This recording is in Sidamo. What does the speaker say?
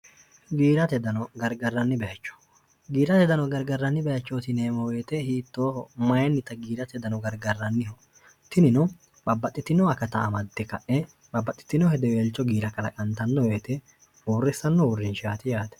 giirate dano gargarranni bahechootineemoweete hiittooho mayinnita giirate dano gargarranniho tinino babbaxxitinoa kata amadde ka'e babbaxxitino hideweelcho giira kalaqantanno yoete huorrissanno huurrinshaati yaate